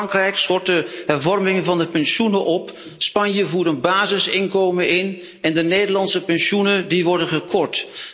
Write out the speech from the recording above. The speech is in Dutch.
Frankrijk schort de hervorming van de pensioenen op, Spanje voert een basisinkomen in en de Nederlandse pensioenen, die worden gekort.